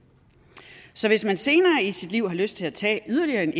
så hvis man senere i sit liv har lyst til at tage yderligere en